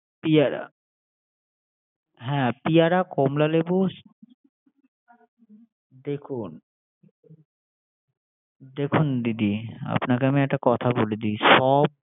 পেয়ারা পেয়ারা, কমলা লেবু দেখুন দিদি আপনাকে আমি একটা কথা বলে দি সব